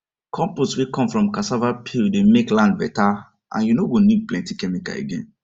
compost wey come from cassava peel dey make land better and you no go need plenty chemical again